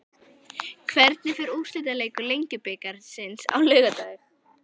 Hvernig fer úrslitaleikur Lengjubikarsins á laugardag?